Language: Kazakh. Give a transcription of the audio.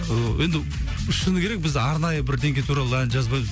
ыыы енді б шыны керек біз арнайы бірдеңке туралы ән жазбаймыз